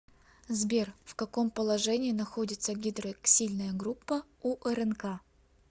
сбер в каком положении находится гидроксильная группа у рнк